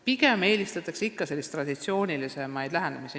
Pigem eelistatakse ikka traditsioonilisemaid lähenemisi.